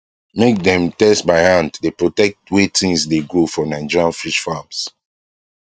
make dem test by hand dey protect way things dey grow for nigerian fish farms